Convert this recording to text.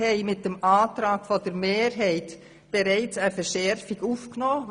Mit dem Antrag der Kommissionsmehrheit haben wir bereits eine Verschärfung vorgesehen.